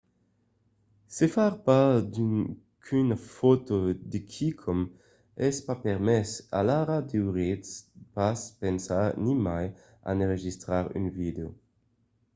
se far pas qu'una fòto de quicòm es pas permés alara deuriatz pas pensar nimai a n'enregistrar un vidèo